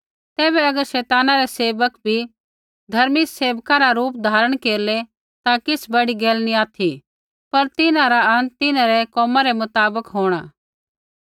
तैबै अगर शैताना रै सेवक भी धर्मी सेवका रा रूप धारण केरलै ता किछ़ बड़ी गैल नी ऑथि पर तिन्हां रा अंत तिन्हैं रै कोम रै मुताबक होंणा